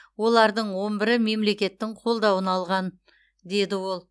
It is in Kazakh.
олардың он бірі мемлекеттің қолдауын алған деді ол